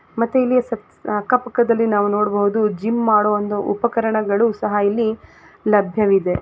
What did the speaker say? ಮತ್ತೆ ಇಲ್ಲಿ ಅಕ್ಕಪಕ್ಕದಲ್ಲಿ ನಾವು ನೋಡಬಹುದು ಜಿಮ್ ಮಾಡುವ ಒಂದು ಉಪಕರಣಗಳು ಸಹ ಇಲ್ಲಿ ಲಭ್ಯವಿದೆ--